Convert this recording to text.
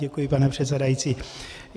Děkuji, pane předsedající.